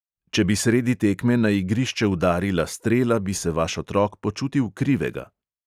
Če bi sredi tekme na igrišče udarila strela, bi se vaš otrok počutil krivega.